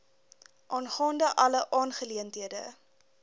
aangaande alle aangeleenthede